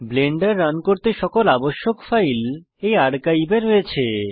Blender run করতে আবশ্যক সকল ফাইল এই আর্কাইভ এ রয়েছে